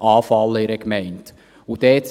in einer Gemeinde anfallen.